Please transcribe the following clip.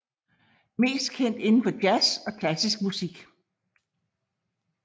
Mest kendt inden for jazz og klassisk musik